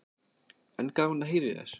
En gaman að heyra í þér.